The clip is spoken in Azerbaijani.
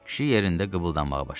Kişi yerində qıbıldanmağa başladı.